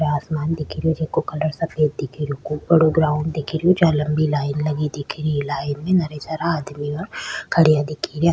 ये आसमान दिख रो जीका कलर सफ़ेद दिख रो ऊपर ग्राउंड दिख रो जहा लम्बी लाइन लगी दिख री लाइन में घड़े सारा आदमी खड़े दिख रा।